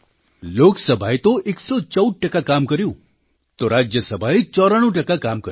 લોકસભાએ તો 114 ટકા કામ કર્યું તો રાજ્યસભાએ 94 ટકા કામ કર્યું